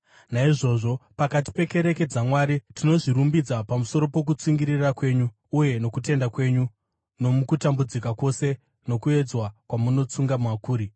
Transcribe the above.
Naizvozvo, pakati pekereke dzaMwari tinozvirumbidza pamusoro pokutsungirira kwenyu uye nokutenda kwenyu nomukutambudzika kwose nokuedzwa kwamunotsunga makuri.